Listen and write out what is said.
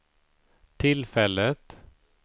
tillfället